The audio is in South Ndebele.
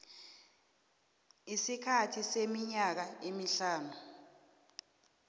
isikhathi seminyaka emihlanu